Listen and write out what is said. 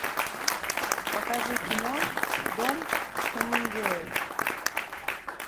покажи кино дом хемингуэй